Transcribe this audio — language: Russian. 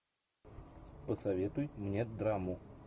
посоветуй мне драму